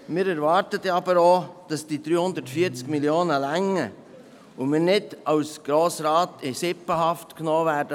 Wir erwarten jedoch auch, dass diese 340 Mio. Franken ausreichen und wir als Grosser Rat nicht von diesem Grossprojekt in Sippenhaft genommen werden.